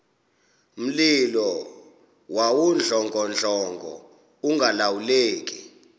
mlilo wawudlongodlongo ungalawuleki